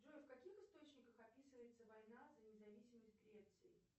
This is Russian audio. джой в каких источниках описывается война за независимость греции